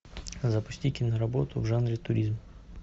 запусти киноработу в жанре туризм